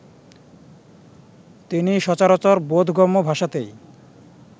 তিনি সচরাচর বোধগম্য ভাষাতেই